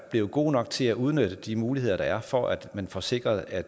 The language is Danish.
blevet god nok til at udnytte de muligheder der er for at man får sikret at